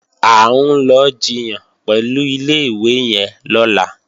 À ń lọ jiyàn pẹ̀lú ilé-ìwé yẹn lọ́la